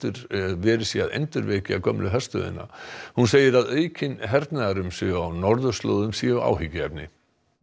verið sé að endurvekja gömlu herstöðina á hún segir að aukin hernaðarumsvif á norðurslóðum séu áhyggjuefni